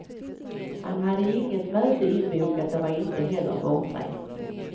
Han hade inget möte inbokat och var inte heller bortrest.